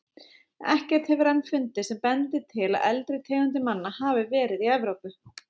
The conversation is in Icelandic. Ekkert hefur enn fundist sem bendir til að eldri tegundir manna hafi verið í Evrópu.